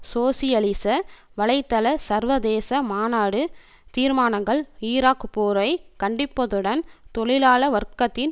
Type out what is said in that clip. சோசியலிச வலைத்தள சர்வதேச மாநாடு தீர்மானங்கள் ஈராக் போரை கண்டிப்பதுடன் தொழிலாள வர்க்கத்தின்